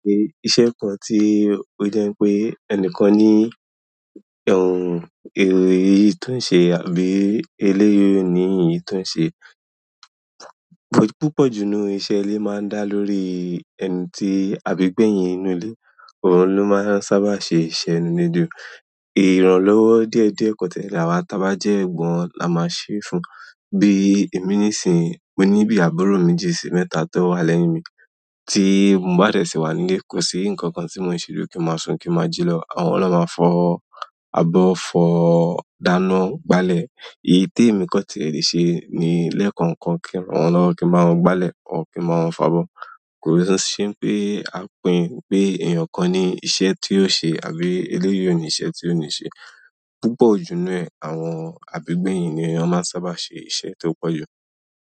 Iṣẹ́ kan tí ó jẹ́ pé ẹnìkan ni èrò yìí tó ń ṣe àbí eléyi o ni e yìí tó ń ṣe. Púpọ̀ ju inú iṣẹ́ ilé máa ń dá lórí ẹni tí, àbí gbẹ̀yìn inú ilé, òun ló máa ń sábà ṣe iṣẹ́ inú ile ju ìrànlọ́wọ́ díẹ̀díẹ̀ kọ̀tẹ́ làwà ta bá jẹ́ ẹ̀gbọ́n la máa ṣé fún. Bí èmi nísìnyí, mo ní bí àbúrò méjì sí mẹ́ta tó wà lẹ́yìn mi, tí mo bá dẹ̀ sí wà nílé, kò sí nǹkan kan tí mò ń ṣe ju kí n máa sùn kí n máa jí lọ. Àwọn na máa fọ abo, fọ dáná, gbálẹ̀. Èyí tí èmi kọ̀ n tì ẹ̀ le ṣe ni lẹ́ẹ̀kan kan kí n ran won lọ́wọ́ kí n ba wọ́n gbálẹ̀, kí n ba wọ́n fo abọ́. Kò sí n ṣé pé a pín pé èèyàn kan ni iṣẹ́ tí yóò ṣe àbí eléyi o ni iṣẹ́ tí yóò ní ṣe. Púpọ̀ jù nú ẹ, àwọn àbí gbẹ̀yìn ni wọn máa ń sábà ṣe iṣẹ̀ tó pọ̀jù.